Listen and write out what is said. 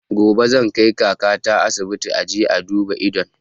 Gobe zan kai kaka ta asibiti a je a duba idon